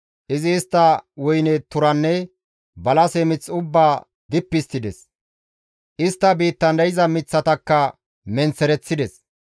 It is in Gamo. Izi istta woyne turanne balase mith ubbaa dippi histtides; istta biittan de7iza miththatakka menththereththides.